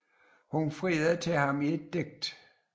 Hun friede til ham i et digt